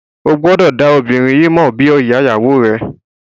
O gbọdọ da obinrin yii mọ bi iya iyawo rẹ.